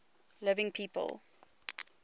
living people